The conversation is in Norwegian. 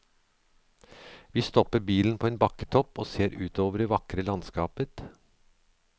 Vi stopper bilen på en bakketopp og ser utover det vakre landskapet.